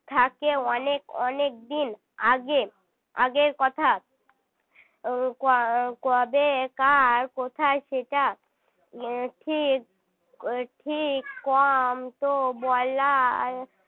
থাকে অনেক অনেক দিন আগে আগের কথা আহ কবে কার কোথায় সেটা কি ঠিক কম তো বলার